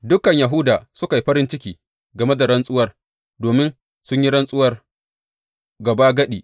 Dukan Yahuda suka yi farin ciki game da rantsuwar domin sun yi rantsuwar gabagadi.